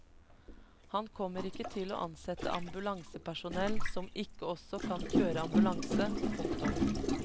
Han kommer ikke til å ansette ambulansepersonell som ikke også kan kjøre ambulanse. punktum